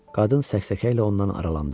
Qadın səksəkə ilə ondan aralandı.